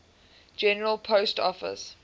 general post office